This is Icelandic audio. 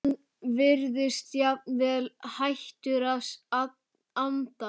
Hann virðist jafnvel hættur að anda.